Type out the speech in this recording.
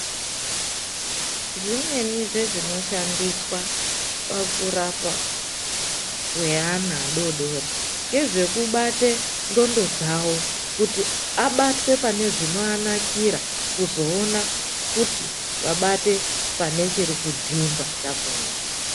Zvimweni zvezvinoshandiswa pakurapa kweana adoodori ngezvekubata ndxondo dzawo kuti abatwe pane chinoanakira kuzoona kuti abate pane chiri kudzimba chakona.